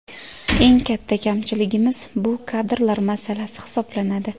Eng katta kamchiligimiz bu kadrlar masalasi hisoblanadi.